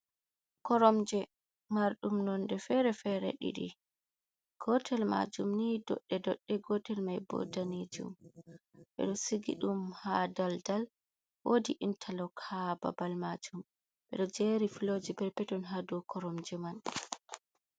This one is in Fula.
Koromje Man ɗum nonde fere-fere, ɗiɗi gotel majuum ni doɗɗe dodɗe, so gotel mai bo danjejuum, ɓe do sigi ɗum ha daldal woqdi intalok ha babal majuum, ɓe ɗo jeri fulawaji perpeton ha dou koromje man.